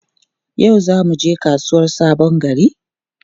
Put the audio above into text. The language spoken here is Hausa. Yau za mu je kasuwar Sabon Gari?